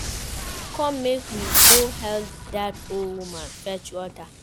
Bella, come make we go help dat old woman fetch water